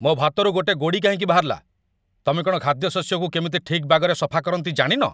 ମୋ' ଭାତରୁ ଗୋଟେ ଗୋଡ଼ି କାହିଁକି ବାହାରିଲା? ତମେ କ'ଣ ଖାଦ୍ୟଶସ୍ୟକୁ କେମିତି ଠିକ୍ ବାଗରେ ସଫା କରନ୍ତି ଜାଣିନ?